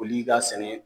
Foli ka sɛnɛ